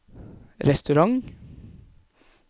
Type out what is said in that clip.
restaurant